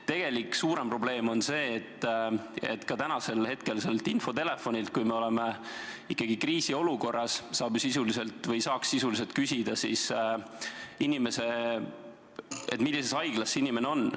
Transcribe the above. Tegelik suurem probleem on see, et ka täna, kui me oleme ikkagi kriisiolukorras, saaks sellelt telefonilt sisuliselt küsida, millises haiglas inimene on.